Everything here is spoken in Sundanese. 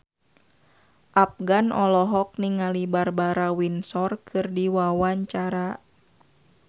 Afgan olohok ningali Barbara Windsor keur diwawancara